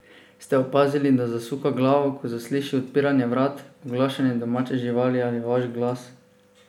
Ste opazili, da zasuka glavo, ko zasliši odpiranje vrat, oglašanje domače živali ali vaš glas?